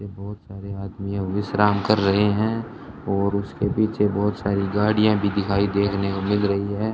ये बहुत सारे आदमी है विश्राम कर रहे हैं और उसके पीछे बहुत सारी गाड़ियां भी दिखाई देखने को मिल रही है।